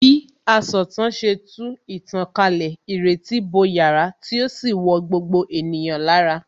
Bí asọ̀tàn ṣe tú ìtàn kalẹ̀, ìrètí bo yàrá tí ó sì wọ gbogbo ènìyàn lára